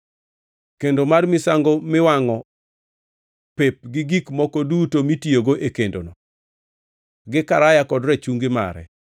kendo mar misango miwangʼo pep gi gik moko duto mitiyogo e kendono, gi karaya kod rachungi mare.